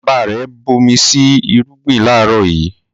Bàbá rẹ̀ bomi sí irúgbìn láàrọ̀ yìí